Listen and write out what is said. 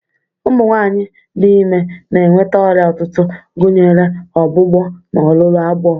Ụmụ nwanyị dị ime na-enweta ọrịa ụtụtụ, gụnyere ọgbụgbọ na olulu agbọ.